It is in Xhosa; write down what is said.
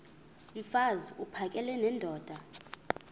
mfaz uphakele nendoda